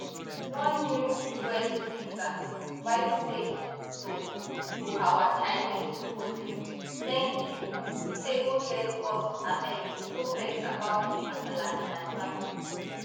one new us user write say to to our chinese hosts thank you say go get us abeg no vex about di kasala in advance